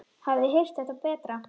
Hafið þið heyrt það betra.